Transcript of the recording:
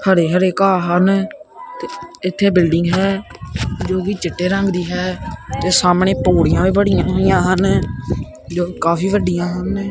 ਹਰੇ ਹਰੇ ਘਾਹ ਹਨ ਤੇ ਇਥੇ ਬਿਲਡਿੰਗ ਹੈ ਜੋ ਕਿ ਚਿੱਟੇ ਰੰਗ ਦੀ ਹੈ ਤੇ ਸਾਹਮਣੇ ਪੌੜੀਆਂ ਵੀ ਬਣੀਆਂ ਹੋਈਆਂ ਹਨ ਜੋ ਕਾਫੀ ਵੱਡੀਆਂ ਹਨ।